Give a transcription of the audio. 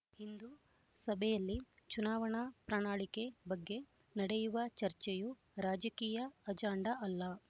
ಇಂದು ಸಭೆಯಲ್ಲಿ ಚುನಾವಣಾ ಪ್ರಣಾಳಿಕೆ ಬಗ್ಗೆ ನಡೆಯುವ ಚರ್ಚೆಯೂ ರಾಜಕೀಯ ಅಜಾಂಡ ಅಲ್ಲ